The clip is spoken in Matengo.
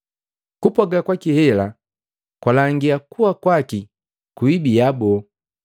Kupwaaga kwaki hela, kwalangia kuwa kwaki kuibiya boo.